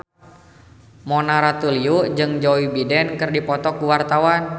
Mona Ratuliu jeung Joe Biden keur dipoto ku wartawan